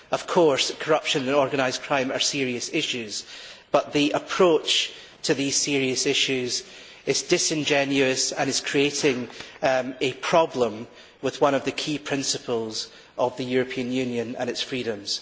Of course corruption and organised crime are serious issues, but the approach to these serious issues is disingenuous and is creating a problem with one of the key principles of the European Union and its freedoms.